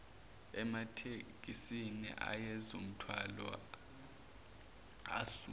ematekisini ayezomthwala amuse